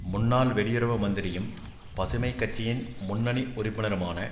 முன்னாள் வெளியுறவு மந்திரியும் பசுமை கட்சியின் முன்னனி உறுப்பினருமான